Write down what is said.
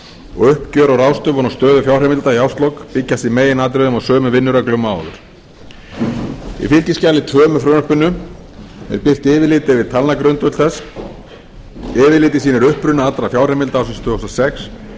og uppgjör og ráðstöfun á stöðu fjárheimilda í árslok byggjast í meginatriðum á sömu vinnureglum og áður í fylgiskjali tvö með frumvarpinu er birt yfirlit yfir talnagrundvöll þess yfirlitið sýnir uppruna allra fjárheimilda ársins tvö þúsund og sex fyrir